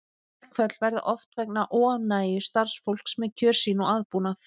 Verkföll verða oft vegna óánægju starfsfólks með kjör sín og aðbúnað.